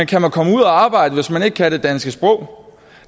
kan man komme ud at arbejde hvis man ikke kan det danske sprog